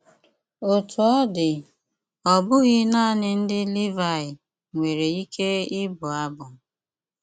Ótú ọ́ dí, ọ́ bụ́ghí nánị ndí Líváyí nwéré íké íbụ́ ábụ́.